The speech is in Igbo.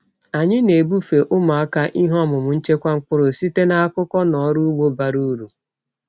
Anyị na-ebufe ụmụaka ihe ọmụma nchekwa mkpụrụ site n’akụkọ na ọrụ ugbo bara uru.